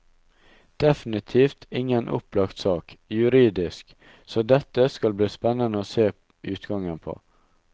Definitivt ingen opplagt sak, juridisk, så dette skal det bli spennende å se utgangen på.